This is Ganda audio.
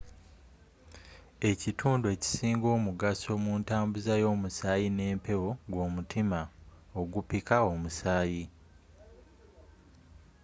ekitundu ekisinga omugaso mu ntambuza y'omusaayi n'empewo gw'omutima ogupikka omusaayi